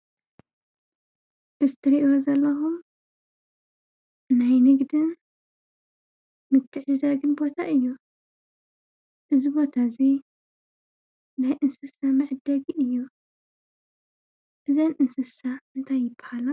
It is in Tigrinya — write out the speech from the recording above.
እዙይ እትርእይዎ ዘለኩም ናይ ንግዲን ምትዕድዳግን ቦታ እዩ። እዙይ ቦታ እዚ ናይ እንስሳ መዐደጊ እዩ። እዘን እንስሳ እንታይ ይብሃላ?